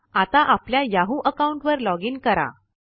आता आपल्या Yahoo account वर लॉगीन करा